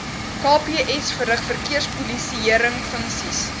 kps verrig verkeerspolisiëringfunksies